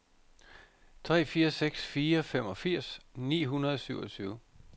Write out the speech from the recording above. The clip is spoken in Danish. tre fire seks fire femogfirs ni hundrede og syvogtyve